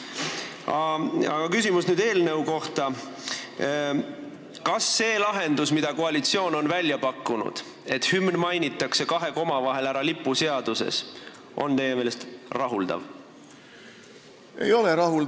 Ja nüüd küsimus eelnõu kohta: kas see lahendus, mille koalitsioon on välja pakkunud, et hümn mainitakse ära kahe koma vahel lipuseaduses, on teie meelest rahuldav?